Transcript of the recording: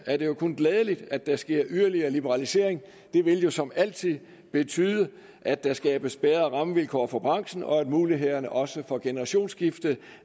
er det jo kun glædeligt at der sker yderligere liberalisering det vil jo som altid betyde at der skabes bedre rammevilkår for branchen og at mulighederne også for generationsskifte